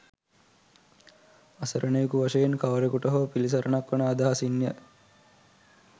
අසරණයකු වශයෙන් කවරකුට හෝ පිළිසරණක් වන අදහසින්ය.